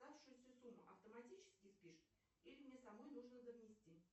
оставшуюся сумму автоматически спишут или мне самой нужно донести